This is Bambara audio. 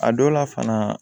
A dɔw la fana